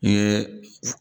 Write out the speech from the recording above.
N ye